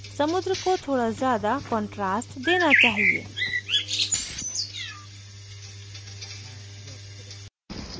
समुद्र को थोड़ा ज़्यादा contrast देना चाहिए